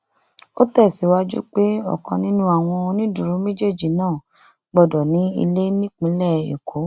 ó tẹsíwájú pé ọkan nínú àwọn onídùúró méjèèjì náà gbọdọ ní ilé nípínlẹ èkó